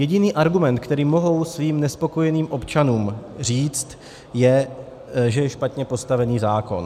Jediný argument, který mohou svým nespokojeným občanům říct, je, že je špatně postavený zákon.